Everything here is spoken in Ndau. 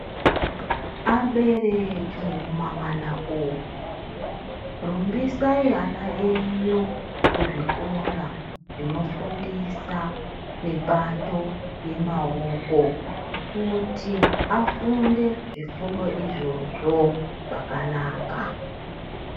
Abereki mumamana umu, rumbisai ana enyu kuzvikora zvinofundisa mibato yemaoko kuti afunde. Kuti afunde izvozvo zvakanaka.